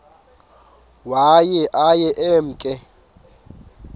waye aye emke